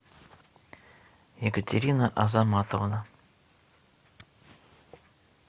екатерина азаматовна